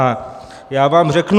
A já vám řeknu...